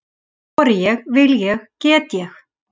Þori ég, vil ég, get ég?